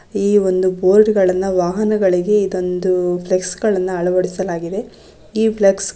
ಈ ಒಂದು ಬೋರ್ಡ ಗಲ್ಲನ್ನ ವಾಹನಗಳಿಗೆ ಇದೊಂದು ಫ್ಲೆಕ್ಸಗಳನ್ನ ಅಳವಡಿಸಲಾಗಿದೆ ಈ ಫ್ಲೆಕ್ಸ್ --